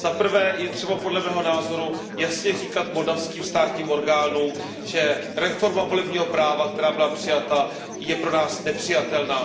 Za prvé je třeba, podle mého názoru, jasně říkat moldavským státním orgánům, že reforma volebního práva, která byla přijata, je pro nás nepřijatelná.